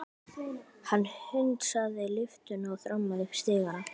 Hann hundsaði lyftuna og þrammaði upp stigana.